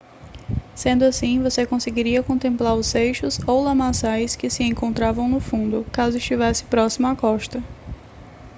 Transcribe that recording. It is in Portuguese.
sendo assim você conseguiria contemplar os seixos ou lamaçais que se encontravam no fundo caso estivesse próximo à costa